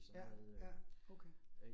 Ja, ja okay